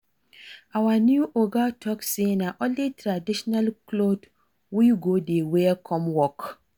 Our new oga talk say na only traditional cloth we go dey wear come work